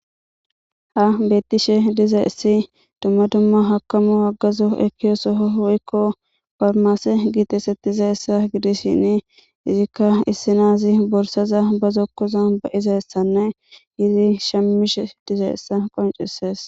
ha beettishe diza essi dumma dumma hakamu aggazo ekkiyo soho hwoykko farmase giites etiza essa gidishini izikka issinaazi borsaza ba zokkoza ba iza essanne yizi shammishe diza essa qoncesees